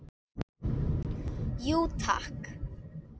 Jú takk!